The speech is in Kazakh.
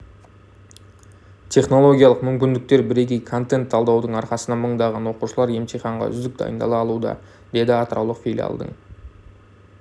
технологиялық мүмкіндіктер бірегей контент талдаудың арқасында мыңдаған оқушылар емтиханға үздік дайындала алуда деді атыраулық филиалдың